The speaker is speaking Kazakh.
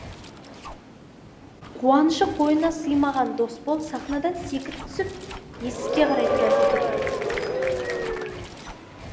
куанышы қойнына сыймаған досбол сахнадан секіріп түсіп есікке қарай тұра жүгіреді